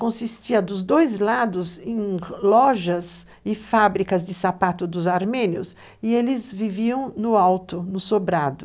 Consistia dos dois lados em lojas e fábricas de sapatos dos armênios, e eles viviam no alto, no sobrado.